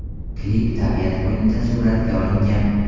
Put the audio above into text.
Klip tabiat qo‘ynida suratga olingan.